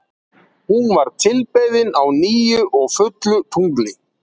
hún var tilbeðin á nýju og fullu tungli